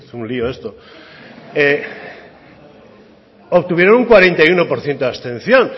un lio esto obtuvieron un cuarenta y uno por ciento de abstención